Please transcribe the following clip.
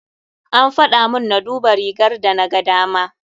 An faɗamun na duba rigar da na gadama.